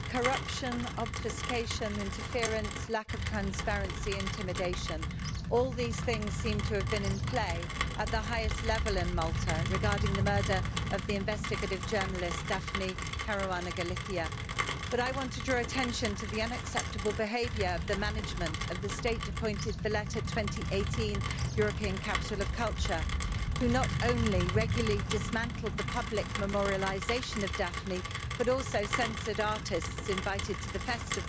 Madam President, corruption, obfuscation, interference, lack of transparency, intimidation. All these things seem to have been in play at the highest level in Malta regarding the murder of the investigative journalist Daphne Caruana Galizia, but I want to draw attention to the unacceptable behaviour of the management of the state appointed Valletta 2018 European Capital of Culture, who not only regularly dismantled the public memorialisation of Daphne, but also censored artists invited to the festival.